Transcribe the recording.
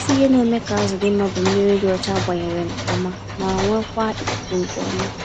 Isi ihe na-eme ka azụ dị mma bụ mmírí dị ọcha agbanyere nke ọma, ma nwekwaa ikuku nke ọma.